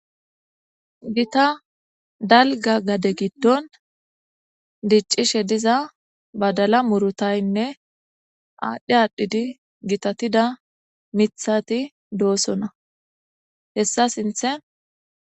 gita dalga gade giddon diccishe diza badala murutaynne aadhdhi aadhdhidi gitatida mithati doosona hessa sinthe